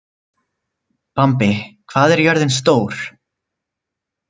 Bambi, hvað er jörðin stór?